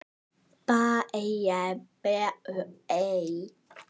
Barn þeirra er Pétur Geir.